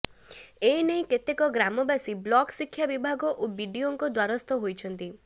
ଏନେଇ କେତେକ ଗ୍ରାମବାସୀ ବ୍ଲକ ଶିକ୍ଷା ବିଭାଗ ଓ ବିଡିଓଙ୍କ ଦ୍ୱାରସ୍ଥ ହୋଇଛନ୍ତି